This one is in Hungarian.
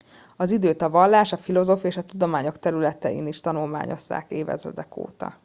az időt a vallás a filozófia és a tudományok területén is tanulmányozzák évezredek óta